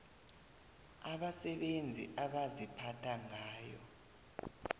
abasebenzi abaziphatha ngayo